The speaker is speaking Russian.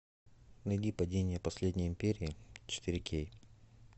найди падение последней империи четыре кей